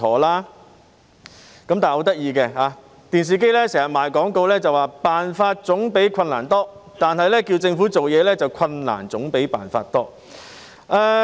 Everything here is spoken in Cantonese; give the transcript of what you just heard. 很有趣的是，電視經常賣廣告，說辦法總比困難多，但要求政府辦事，卻困難總比辦法多。